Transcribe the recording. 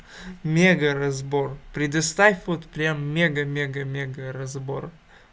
мега разбор предоставь вот прям мега мега мега разбор